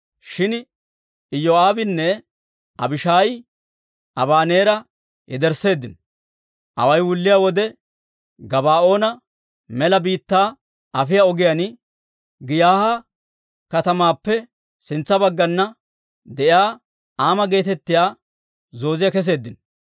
Shin Iyoo'aabinne Abishaayi Abaneera yedersseeddino; away wulliyaa wode, Gabaa'oona Mela Biittaa afiyaa ogiyaan Giiyaaha katamaappe sintsa baggana de'iyaa Ama geetettiyaa Zooziyaa keseeddino.